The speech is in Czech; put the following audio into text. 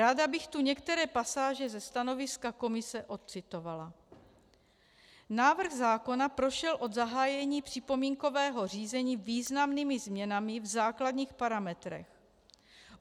Ráda bych tu některé pasáže ze stanoviska komise ocitovala: "Návrh zákona prošel od zahájení připomínkového řízení významnými změnami v základních parametrech.